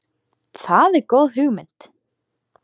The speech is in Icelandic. Það er góð hugmynd.